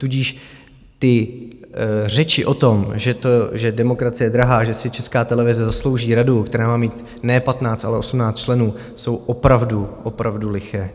Tudíž ty řeči o tom, že demokracie je drahá, že si Česká televize zaslouží radu, které má mít ne 15, ale 18 členů, jsou opravdu, opravdu liché.